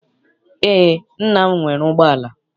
Eé, nna m nwere ụgbọala.